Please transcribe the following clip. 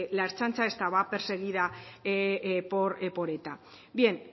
la ertzaintza estaba perseguida por eta bien